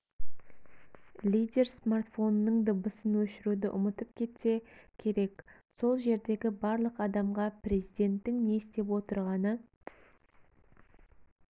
лидер смартфонының дыбысын өшіруді ұмытып кетсе керек сол жердегі барлық адамға президенттің не істеп отырғаны